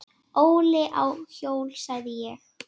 Óli á hjól, sagði ég.